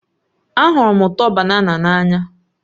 Ahụrụ m ụtọ banana n'anya